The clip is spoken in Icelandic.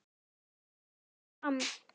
gæfi sig fram.